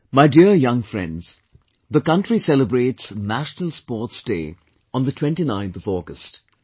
My dear young friends, the country celebrates National Sports Day on the 29th of August